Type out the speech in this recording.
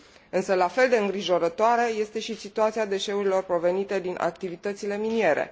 Însă la fel de îngrijorătoare este și situația deșeurilor provenite din activitățile miniere.